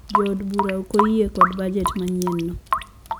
Jo od bura ok oyie kod bujet manyien no